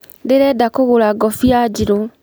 Ndĩrenda kũgũra ngũbia njirũ.